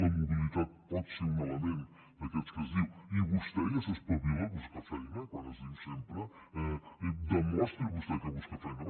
la mobilitat pot ser un element d’aquests que es diu i vostè ja s’espavila a buscar feina com es diu sempre demostri vostè que busca feina